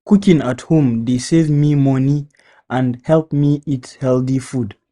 Cooking at home dey save me money and help me eat healthy food.